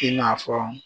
I n'a fɔ